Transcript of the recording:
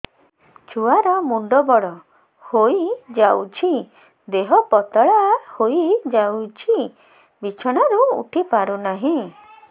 ଛୁଆ ର ମୁଣ୍ଡ ବଡ ହୋଇଯାଉଛି ଦେହ ପତଳା ହୋଇଯାଉଛି ବିଛଣାରୁ ଉଠି ପାରୁନାହିଁ